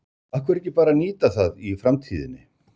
Af hverju ekki bara að nýta það í framtíðinni?